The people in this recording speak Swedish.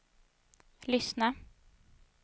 lyssna